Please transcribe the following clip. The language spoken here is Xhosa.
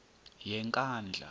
yenkandla